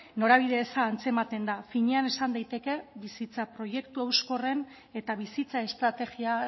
norabide eza antzematen da finean esan daiteke bizitza proiektu hauskorren eta bizitza estrategia